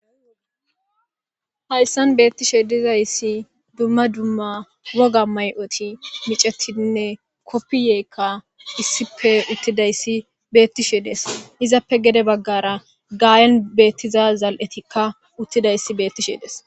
Haysan betishe dizaysi duma duma woga mayoti micetidine kofiyeyka issippe uttidaysi betizaysako izappe gede bagara gayan uttida zaletika betisherde'es